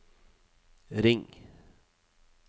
ring